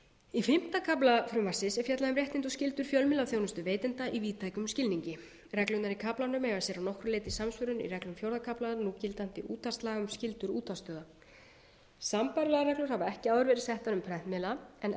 í fimmta kafla frumvarpsins er fjallað um réttindi og skyldur fjölmiðlaþjónustuveitenda í víðtækum skilningi reglurnar í kaflanum eiga sér að nokkru leyti samsvörun í reglum fjórða kafla núgildandi útvarpslaga um skyldur útvarpsstjóra sambærilegar reglur hafa ekki áður verið settar um prentmiðla en